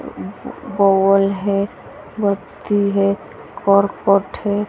Ball है बत्ती है करकट है।